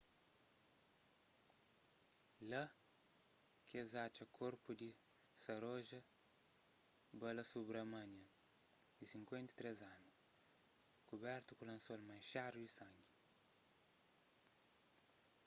lá ki es atxa korpu di saroja balasubramanian di 53 anu kubertu ku lansol manxadu di sangi